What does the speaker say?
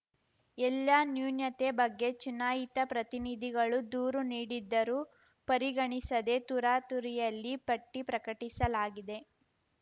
ಎಲ್ಲ ನ್ಯೂನತೆ ಬಗ್ಗೆ ಚುನಾಯಿತ ಪ್ರತಿನಿಧಿಗಳು ದೂರು ನೀಡಿದ್ದರೂ ಪರಿಗಣಿಸದೆ ತುರಾತುರಿಯಲ್ಲಿ ಪಟ್ಟಿಪ್ರಕಟಿಸಲಾಗಿದೆ